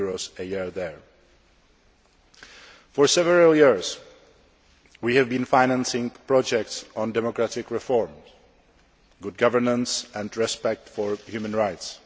a year there. For several years, we have been financing projects on democratic reforms, good governance and respect for human rights.